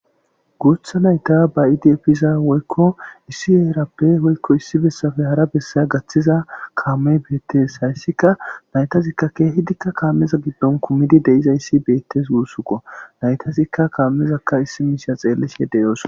Guutha nayta bayidi efiza woykko issi eerappe woykko issi bessafe hara bessaya gaththiza kaame beettes hayssika naytazikka keehidikka kaameza giddon kumidi deizayssi beettes guussuko naytazikka kaamezakka issi miisha xeellish edeyoos